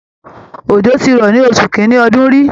Òjò ti rọ̀ ní oṣù kín-ínní ọdún rí